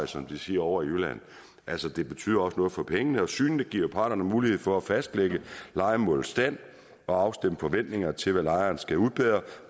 som de siger ovre i jylland altså det betyder også noget for pengene og synet giver parterne mulighed for at fastlægge lejemålets stand og afstemme forventninger til hvad lejeren skal udbedre